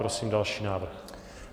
Prosím další návrh.